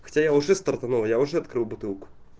хотя уже стартанул я уже открыл бутылку